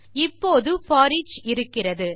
இப்போது போரிச் இருக்கிறது